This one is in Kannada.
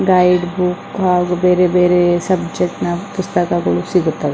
ಗೈಡ್ ಬುಕ್ ಹಾಗು ಬೇರೆ ಬೇರೆ ಸಬ್ಜೆಕ್ಗ್ಟ್ಸ್ ನ ಪುಸ್ತಕಗಳು ಇಲ್ಲಿ ಸಿಗುತ್ತವೆ .